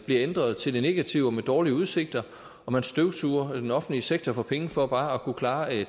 bliver ændret til det negative der er dårlige udsigter og man støvsuger den offentlige sektor for penge for bare at kunne klare